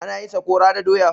Ana yin sakora da doya.